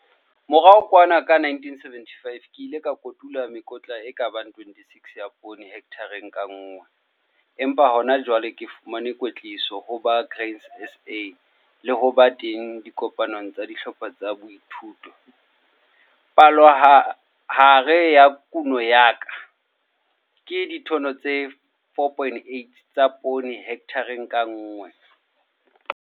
Morao kwana ka 1975 ke ile ka kotula mekotla e ka bang 26 ya poone hekthareng ka nngwe, empa hajwale hoba ke fumane kwetliso ho ba Grain SA le ho ba teng dikopanong tsa dihlopha tsa boithuto, palohare ya kuno ya ka ke ditone tse 4,8 tsa poone hekthara ka nngwe.